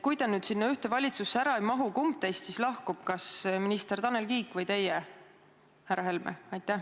Kui te nüüd sinna ühte valitsusse ära ei mahu, kumb teist siis lahkub, kas minister Tanel Kiik või teie, härra Helme?